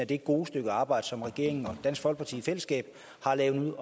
det gode stykke arbejde som regeringen og dansk folkeparti i fællesskab har lavet